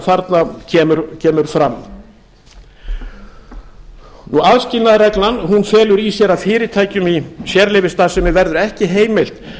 þarna kemur fram aðskilnaðarreglan felur í sér að fyrirtækjum í sérleyfisstarfsemi verður ekki heimilt